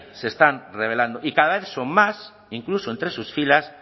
se están rebelando y cada vez son más incluso entre sus filas